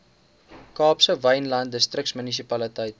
kaapse wynland distriksmunisipaliteit